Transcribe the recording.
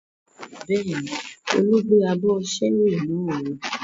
Bẹ́ẹ̀ni, Olu gbé abọ́ ṣẹ́ẹ́rì náà lọ.